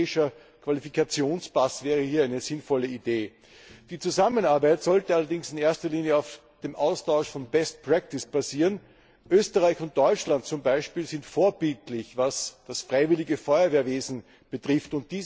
Ein europäischer Qualifikationspass wäre hier eine sinnvolle Idee. Die Zusammenarbeit sollte allerdings in erster Linie auf dem Austausch von best practice basieren. Österreich und Deutschland zum Beispiel sind vorbildlich, was das freiwillige Feuerwehrwesen betrifft.